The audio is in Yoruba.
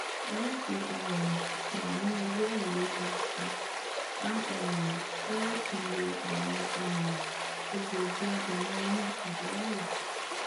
lati um wa ni ẹgbẹ ailewu nikan a um fẹ lati lo awọn um egbogi adena oyun pajawiri